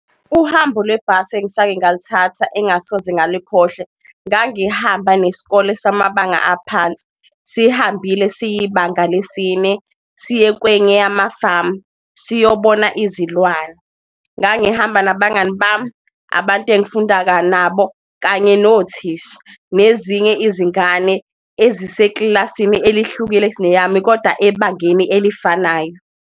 Uhambo lwebhasi engisake ngaluthatha engasoze ngalikhohle, ngangihamba nesikole samabanga aphansi sihambile sibanga lesine siye kwenye yamafamu, siyobona izilwane. Ngangihamba nabangani bami, abantu engifunda ka nabo kanye nothisha, nezinye izingane eziseklasini elihlukile kuneyami koda ebangeni elifanayo.